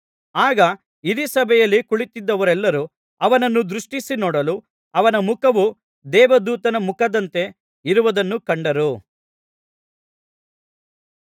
ಆಗ ಹಿರೀಸಭೆಯಲ್ಲಿ ಕುಳಿತಿದ್ದವರೆಲ್ಲರೂ ಅವನನ್ನು ದೃಷ್ಟಿಸಿ ನೋಡಲು ಅವನ ಮುಖವು ದೇವದೂತನ ಮುಖದಂತೆ ಇರುವುದನ್ನು ಕಂಡರು